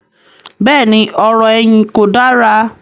bẹ́ẹ̀ni, ọ̀rọ̀-ẹ̀yìn kò dára.